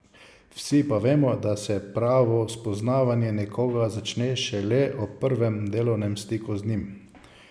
Vsi pa vemo, da se pravo spoznavanje nekoga začne šele ob prvem delovnem stiku z njim.